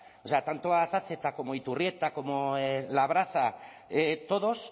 o sea tanto azazeta como iturrieta como labraza todos